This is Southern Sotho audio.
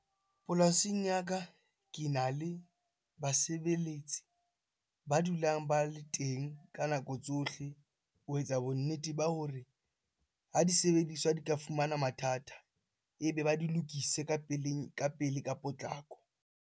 Polasing ya ka kena le basebeletsi ba dulang ba le teng ka nako tsohle ho etsa bonnete ba hore ha di sebediswa di ka fumana mathata, ebe ba di lokise ka pele ka potlako.